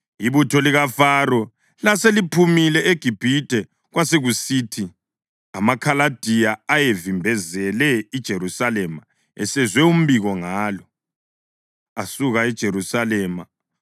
Ibutho likaFaro laseliphumile eGibhithe, kwasekusithi amaKhaladiya ayevimbezele iJerusalema esezwe umbiko ngalo, asuka eJerusalema.